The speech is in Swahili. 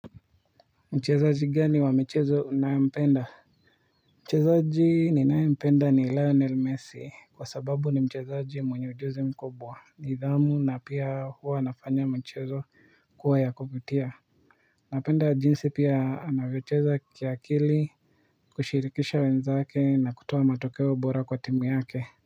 Mchezaji gani wa michezo unayempenda mchezaji ninayempenda ni Lionel Messi kwa sababu ni mchezaji mwenye ujuzi mkobwa nidhamu na pia huwa anafanya mchezo kuwa ya kuvutia napenda jinsi pia anavyocheza kiakili kushirikisha wenzake na kutoa matokeo bora kwa timu yake